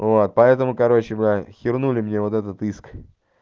вот поэтому короче бля хернули мне вот этот иск